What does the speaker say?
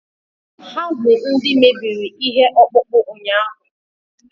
ha bụ ndị mebiri ihe ọkpụkpụ ụnyahụ